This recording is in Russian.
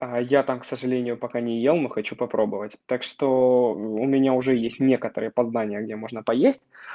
а я там к сожалению пока не ел но хочу попробовать так что у меня уже есть некоторые познания где можно поесть